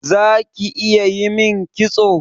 Zaki iya yimin kitso?